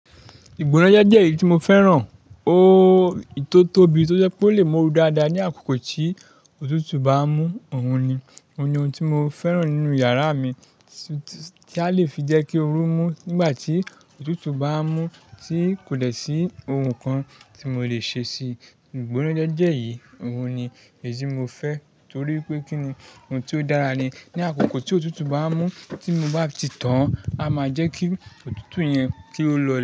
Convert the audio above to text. Ìgbónájẹ́ jẹ́ èyí tí mo fẹ́ràn. Ooo, tó tóbi tí ó je pé ó lè mú ooru dáadáa ní àkókò tí òtútù bá ń mú, òun ni. Ó ní ohun tí mo fẹ́ràn nínú yàrá mi, tí, tí a le fi jẹ́ kí ooru mú nígbà tí òtútù bá ń mú tí kò lè sí ohun kan tí mo le ṣe sí i. Ìgbónájẹ́ jẹ́ èyí, òun ni èyí tí mo fẹ́ torí pé kí ni, ohun tí ó dára ni. Ní àkókò tí òtútù bá ń mú, tí mo bá ti tàn án, a máa jẹ́ kí òtútù yẹn kí ó lọ.